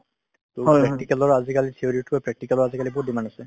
টো practical ৰ আজিকালি theory তকৈ practical ৰ আজিকালি বহুত demand আছে ।